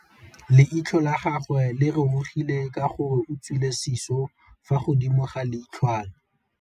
Leitlhô la gagwe le rurugile ka gore o tswile sisô fa godimo ga leitlhwana.